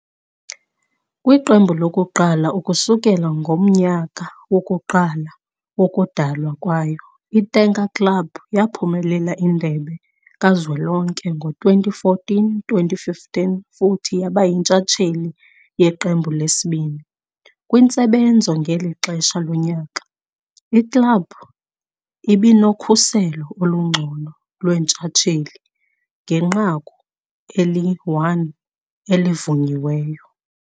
Kwiqembu lokuqala kusukela ngomnyaka wokuqala wokudalwa kwayo, i-tanker club yaphumelela Indebe Kazwelonke ngo-2014-2015 futhi yaba yintshatsheli yeqembu lesibili. Kwintsebenzo ngeli xesha lonyaka, iklabhu ibinokhuselo olungcono lwentshatsheli ngenqaku eli-1 elivunyiweyo.